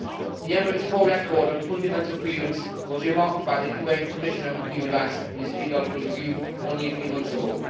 The Emirates' poor record on fundamental freedoms was remarked on by the UN Commissioner on Human Rights in his periodical review only a few months ago.